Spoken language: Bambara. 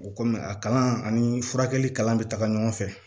O kɔmi a kalan ani furakɛli kalan bɛ taga ɲɔgɔn fɛ